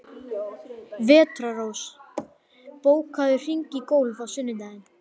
Vetrarrós, bókaðu hring í golf á sunnudaginn.